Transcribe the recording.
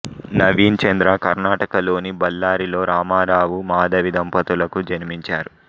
నవీన్ చంద్ర కర్ణాటక లోని బళ్ళారి లో రామారావు మాధవి దంపతులకు జన్మించాడు